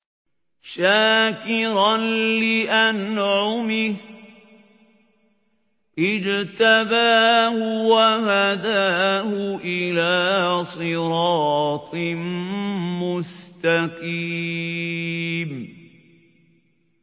شَاكِرًا لِّأَنْعُمِهِ ۚ اجْتَبَاهُ وَهَدَاهُ إِلَىٰ صِرَاطٍ مُّسْتَقِيمٍ